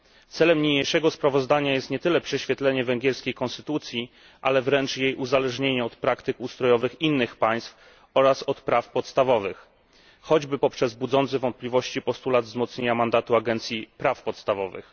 Celem niniejszego sprawozdania jest nie tyle prześwietlenie węgierskiej konstytucji, ile jest uzależnienie od praktyk ustrojowych innych państw oraz od praw podstawowych, choćby poprzez budzący wątpliwości postulat wzmocnienia mandatu Agencji Praw Podstawowych.